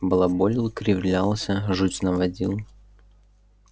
балаболил кривлялся жуть наводил